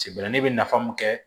Sebɛrɛli bɛ nafa mun kɛ